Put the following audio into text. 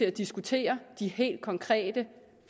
at diskutere de helt konkrete